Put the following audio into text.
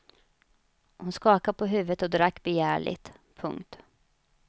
Hon skakade på huvudet och drack begärligt. punkt